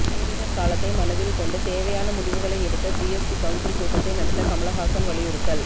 பேரிடர் காலத்தை மனதில் கொண்டு தேவையான முடிவுகளை எடுக்க ஜிஎஸ்டி கவுன்சில் கூட்டத்தை நடத்த கமல்ஹாசன் வலியுறுத்தல்